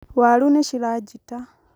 waru nicirajĩta